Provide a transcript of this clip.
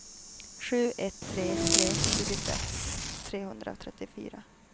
sju ett tre tre tjugosex trehundratrettiofyra